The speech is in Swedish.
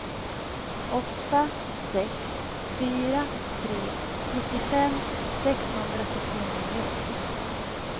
åtta sex fyra tre nittiofem sexhundrasextionio